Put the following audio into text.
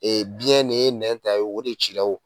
Ee biyɛn de nɛn ta yen wo o de ci la wo!